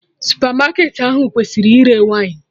Supermarket ahụ kwụsịrị ire wine